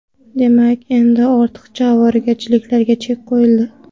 Demak, endi ortiqcha ovoragarchiliklarga chek qo‘yildi.